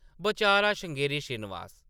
बचारा श्रृंगेरी श्रीनिवास ।